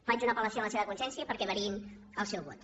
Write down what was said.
faig una apel·lació a la seva consciència perquè variïn el seu vot